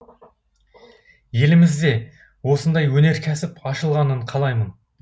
елімізде осындай өнеркәсіп ашылғанын қалаймын